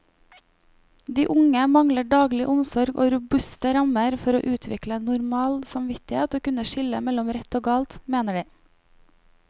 De unge mangler daglig omsorg og robuste rammer for å utvikle normal samvittighet og kunne skille mellom rett og galt, mener de.